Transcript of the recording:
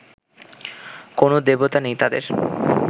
কোনো দেবতা নেই তাঁদের